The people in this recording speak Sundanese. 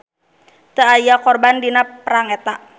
Teu aya korban dina perang eta.